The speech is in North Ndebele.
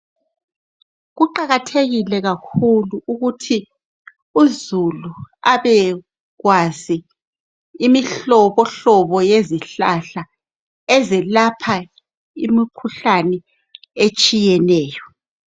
Kuqakathekile kakhulu ukuthi uzulu abekwazi imihlobo hlobo yezihlahla ezelapha imikhuhlane etshiyeneyo